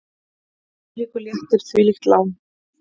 Hvílíkur léttir, hvílíkt lán!